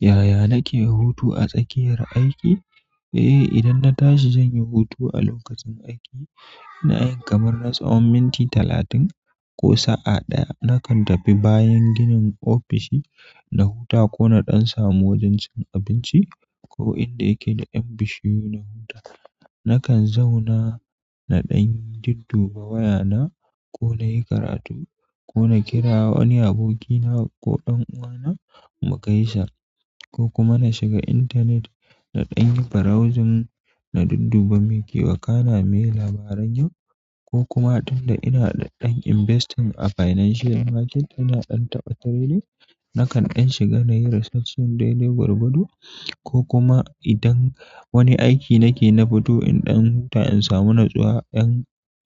Yaya kake hutu a tsakiyar aiki? Eh, idan na tashi zan yi hutu a lokacin aiki na 'yan kamar na tsawon minti talatin ko sa'a ɗaya. Nakan tafi bayan ginin ofishi na huta ko na ɗan samu wajen cin abinci. Ko inda yake da 'yan bishiyu na huta. Nakan zauna na ɗan dudduba wayana ko na yi karatu ko na kira wani abokina ko ɗan uwana mu gaisa. Ko kuma na shiga intanet na ɗan yi browsing na dudduba me ke wakana, miye labaran yau ko kuma tun da ina ɗan investing a financial market ina ɗan tabbatar da ita. Nakan ɗan shiga na yi research ɗin daidai gwargwado ko kuma idan wani aiki nake na fito in ɗan huta in samu natsuwa, 'yan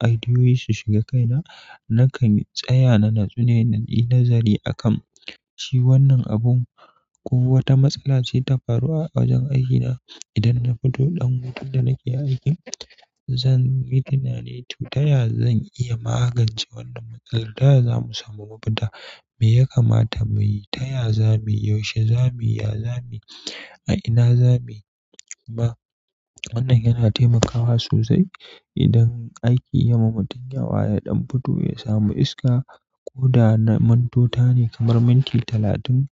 aidiyoyi su shiga kaina. Nakan tsaya na natsu ne na yi nazari a kan shi wannan abun ko wata matsala ce ta faru a wajen aikina. Idan na fito ɗan hutu da nake aiki, zan yi tunani to taya zan iya magance wannan matsala. Taya zamu samu mafita? Me ya kamata mu yi? Taya za mu yi? Yaushe za mu yi? Ya za mu yi? A ina za mu yi? Ba, wannan yana taimakawa sosai idan aiki ya ma mutum yawa ya ɗan fito ya samu iska ko da na mintota ne kamar minti talatin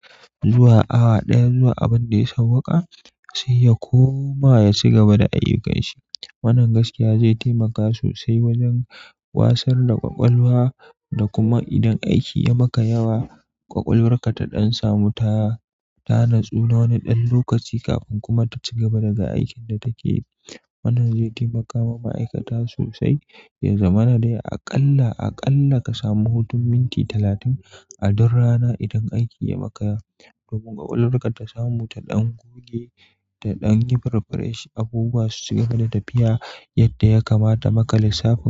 zuwa awa ɗaya zuwa abin da ya sauwaka sai ya koma ya ci gaba da ayyukanshi. Wannan gaskiya zai taimaka sosai wajen wasar da ƙwaƙwalwa da kuma idan aiki ya maka yawa, ƙwaƙwalwarka ta ɗan samu ta, ta natsu na wani ɗan lokaci kafin kuma ta ci gaba daga aikin da take yi. Wannan zai taimaka ma ma'aikata sosai. Ya zamana dai aƙalla, aƙalla ka samu hutun minti talatin a duk rana idan aiki ya maka yawa. Domin ƙwaƙwalwarka ta samu ta ɗan goge da ɗan yi preparation abubuwa su ci gaba da tafiya. Yadda ya kamata ba ka lissafo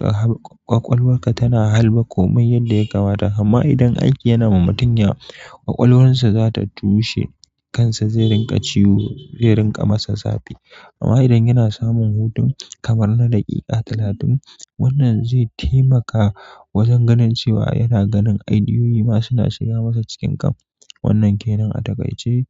har ƙwaƙwalwar ka tana harba komai yadda ya kamata amma idan aiki yana ma mutum yawa, ƙwaƙwalwarsa za ta tushe kansa, zai rinƙa ciwo, zai rinƙa masa zafi. Amma idan yana samun hutun kamar na daƙiƙa talatin, wannan zai taimaka wajen ganin cewa yana ganin ideoyi ma suna shiga masa cikin kan. Wannan ke nan a takaice.